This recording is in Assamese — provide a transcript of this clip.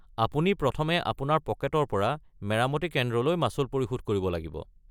আপুনি প্ৰথমে আপোনাৰ পকেটৰ পৰা মেৰামতি কেন্দ্ৰলৈ মাচুল পৰিশোধ কৰিব লাগিব।